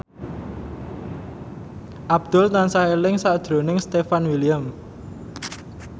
Abdul tansah eling sakjroning Stefan William